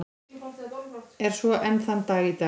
Er svo enn þann dag í dag.